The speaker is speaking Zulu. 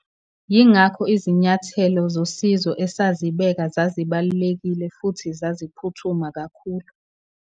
Yingakho izinyathelo zosizo esazibeka zazibalulekile futhi zaziphuthuma kakhulu.